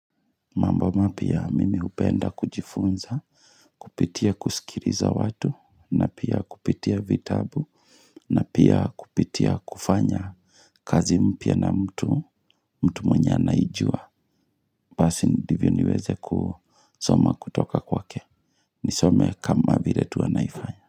Mambo mapya mimi hupenda kujifunza, kupitia kusikiriza watu, na pia kupitia vitabu, na pia kupitia kufanya kazi mpya na mtu, mtu mwenye anaijua. Pasi ndivyo niweze kusoma kutoka kwake. Nisome kama vire tu anaifanya.